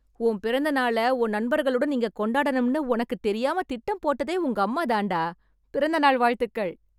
உன் பிறந்த நாள உன் நண்பர்களுடன் இங்க கொண்டாடணும்னு உனக்கு தெரியாம திட்டம் போட்டதே உங்கம்மாதாண்டா... பிறந்த நாள் வாழ்த்துகள்.